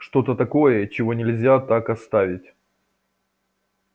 что-то такое чего нельзя так оставить